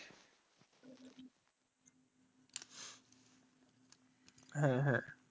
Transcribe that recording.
হ্যাঁ হ্যাঁ